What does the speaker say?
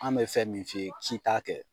An bɛ fɛn min f'i ye k'i t'a kɛ